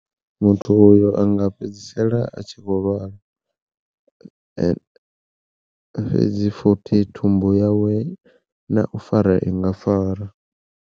Muthu uyo anga fhedzisela a tshi vho lwala, fhedzi fothi thumbu yawe na u fara inga fara.